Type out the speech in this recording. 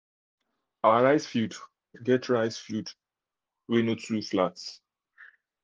our rice field get rice field get no too flat